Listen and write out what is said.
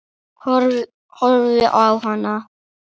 Horfi á hana.